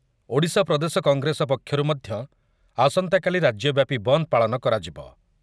ଓଡ଼ିଶା ପ୍ରଦେଶ କଂଗ୍ରେସ ପକ୍ଷରୁ ମଧ୍ୟ ଆସନ୍ତାକାଲି ରାଜ୍ୟ ବ୍ୟାପି ବନ୍ଦ ପାଳନ କରାଯିବ ।